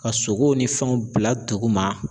Ka sogo ni fɛnw bila duguma